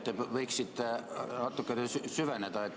Te võiksite natukene süveneda.